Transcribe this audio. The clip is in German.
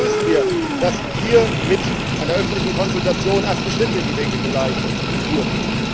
Deswegen begrüßen wir, dass hier mit einer öffentlichen Konsultation erste Schritte in die Wege geleitet wurden.